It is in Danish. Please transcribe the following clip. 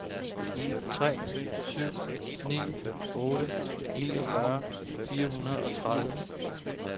tre syv ni otte niogfyrre fire hundrede og tredive